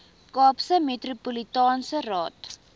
kaapse metropolitaanse raad